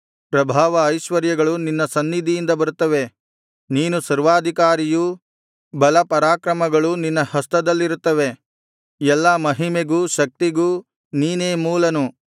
ಪ್ರಭಾವ ಐಶ್ವರ್ಯಗಳು ನಿನ್ನ ಸನ್ನಿಧಿಯಿಂದ ಬರುತ್ತವೆ ನೀನು ಸರ್ವಾಧಿಕಾರಿಯು ಬಲಪರಾಕ್ರಮಗಳು ನಿನ್ನ ಹಸ್ತದಲ್ಲಿರುತ್ತವೆ ಎಲ್ಲಾ ಮಹಿಮೆಗೂ ಶಕ್ತಿಗೂ ನೀನೇ ಮೂಲನು